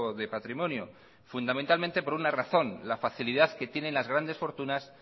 de patrimonio fundamentalmente por una razón la facilidad que tienen las grandes fortunas